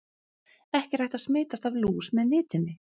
Ekki er hægt að smitast af lús með nitinni.